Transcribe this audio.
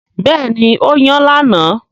Bẹ́ẹ̀ni, ó yan lánàá